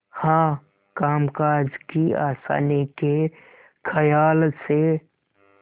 हाँ कामकाज की आसानी के खयाल से